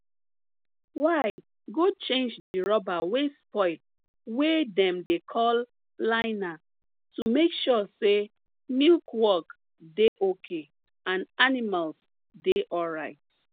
y go change di rubber wey spoil wey dem dey call liner to make sure say milk work dey okay and animals dey alright